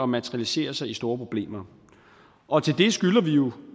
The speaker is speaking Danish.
materialisere sig i store problemer og vi skylder jo